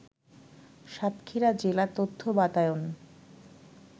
সাতক্ষীরা জেলা তথ্য বাতায়ন